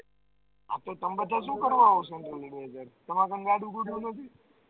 આપે તમાં બધા શુ કરવા આવો છો તમાર ગાડી ઘોડી નથી